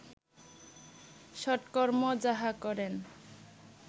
সৎকর্ম যাহা করেন